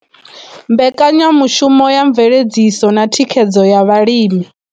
Mbekanyamushumo ya mveledziso na thikhedzo ya vhalimi.